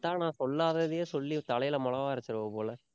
விட்டா, நான் சொல்லாததையே சொல்லி தலையில மொளகா அரைச்சிருவ போல